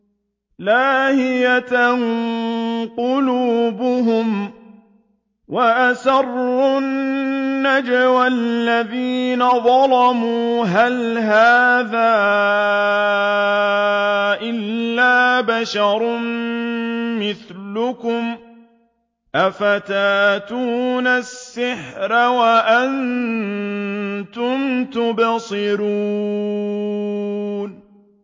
لَاهِيَةً قُلُوبُهُمْ ۗ وَأَسَرُّوا النَّجْوَى الَّذِينَ ظَلَمُوا هَلْ هَٰذَا إِلَّا بَشَرٌ مِّثْلُكُمْ ۖ أَفَتَأْتُونَ السِّحْرَ وَأَنتُمْ تُبْصِرُونَ